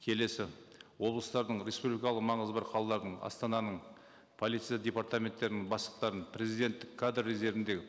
келесі облыстардың республикалық маңызы бар қалалардың астананың полиция департаменттерінің бастықтарын президенттік кадр резервіндегі